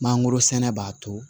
Mangoro sɛnɛ b'a to